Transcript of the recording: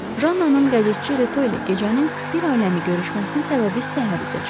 Jannanın qəzetçi Reto ilə gecənin bir aləmi görüşməsinin səbəbi səhər üzə çıxdı.